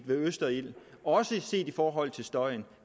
ved østerild også i forhold til støjen